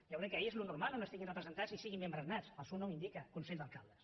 jo crec que és el normal on estiguin presentats i que siguin membres nats el seu nom ho indica consell d’alcaldes